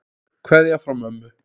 Kveðja frá mömmu.